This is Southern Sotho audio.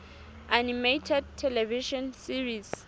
animated television series